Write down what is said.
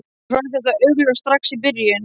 Mér fannst það augljóst strax í byrjun.